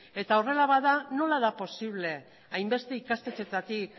eta horrela bada nola da posible hainbeste ikastetxeetatik